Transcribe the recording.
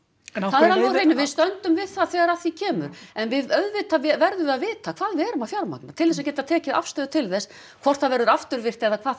er á hreinu við stöndum við það þegar að því kemur en auðvitað verðum við að vita hvað við erum að fjármagna til þess að geta tekið afstöðu til þess hvort það verður afturvirkt eða hvað